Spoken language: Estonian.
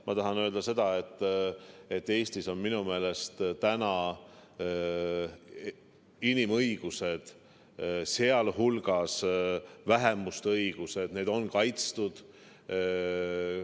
Ma tahan öelda seda, et Eestis on minu meelest inimõigused, sh vähemuste õigused, kaitstud.